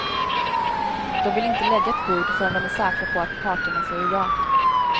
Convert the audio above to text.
De vill inte lägga ett bud förrän de är säkra på att parterna säger ja.